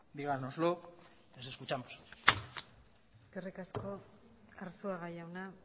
dígannoslo les escuchamos eskerrik asko arzuaga jauna